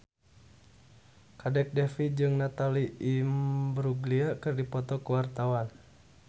Kadek Devi jeung Natalie Imbruglia keur dipoto ku wartawan